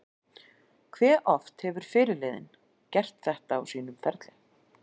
Hve oft hefur fyrirliðinn gert þetta á sínum ferli?